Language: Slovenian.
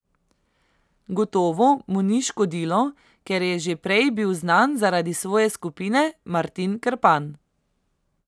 Gotovo mu ni škodilo, ker je že prej bil znan zaradi svoje skupine Martin Krpan.